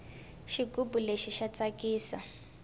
xigubu lexi xa tsakisa